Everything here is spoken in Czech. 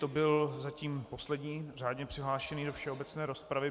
To byl zatím poslední řádně přihlášený do všeobecné rozpravy.